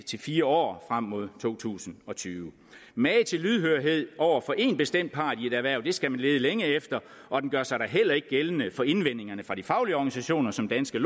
til fire år frem mod to tusind og tyve mage til lydhørhed over for én bestemt part i et erhverv skal man lede længe efter og den gør sig da heller ikke gældende for indvendingerne fra de faglige organisationer som danske